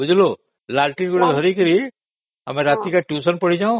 ବୁଝିଲୁ ଲଣ୍ଠନ ଗୋଟେ ଧରିକି ଆମେ ରାତିରେ tuition ପଢି ଯାଉ